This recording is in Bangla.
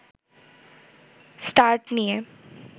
স্টার্ট নিয়ে